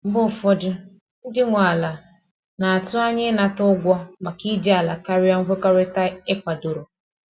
Mgbe ụfọdụ, ndị nwe ala na-atụ anya ịnata ụgwọ maka iji ala karịa nkwekọrịta e kwadoro.